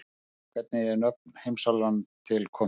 hvernig eru nöfn heimsálfanna til komin